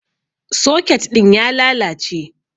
Soket ɗin ya lalace.